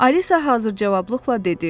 Alisa hazır cavablıqla dedi.